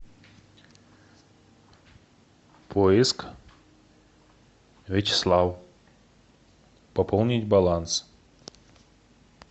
поиск вячеслав пополнить баланс